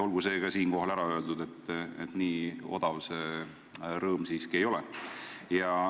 Olgu see ka siin ära öeldud, et nii odav see rõõm siiski ei ole.